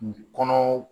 Kɔnɔ